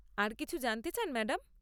আর কিছু জানতে চান, ম্যাডাম?